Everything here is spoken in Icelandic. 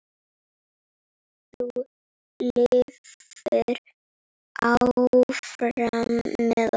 Þú lifir áfram með okkur.